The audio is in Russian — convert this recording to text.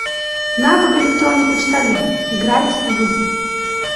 навык электронный почтальон играть в